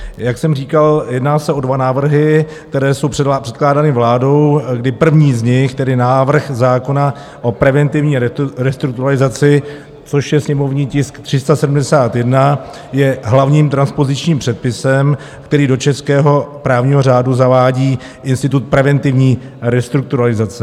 Jak jsem říkal, jedná se o dva návrhy, které jsou předkládány vládou, kdy první z nich, tedy návrh zákona o preventivní restrukturalizaci, což je sněmovní tisk 371, je hlavním transpozičním předpisem, který do českého právního řádu zavádí institut preventivní restrukturalizace.